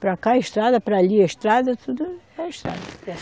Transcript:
Para cá estrada, para ali é estrada, tudo é estrada.